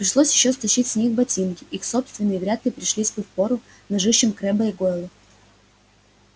пришлось ещё стащить с них ботинки их собственные вряд ли пришлись бы впору ножищам крэбба и гойла